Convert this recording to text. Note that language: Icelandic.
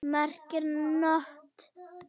merkir NOT.